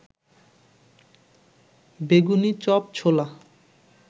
বেগুনি, চপ, ছোলা